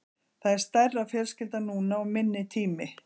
Það er stærri fjölskylda núna og minni tími.